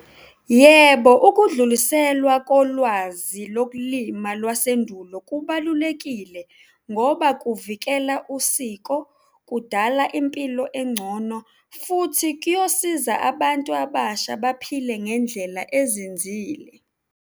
Yebo, ukudluliselwa kolwazi lokulima lwasendulo kubalulekile ngoba kuvikela usiko, kudala impilo engcono futhi kuyosiza abantu abasha baphile ngendlela ezinzile.